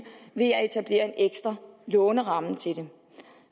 ved at etablere en ekstra låneramme til det